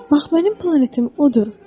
Bax mənim planetim odur.